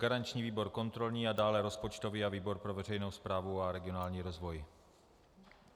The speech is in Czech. Garanční výbor kontrolní a dále rozpočtový a výbor pro veřejnou správu a regionální rozvoj.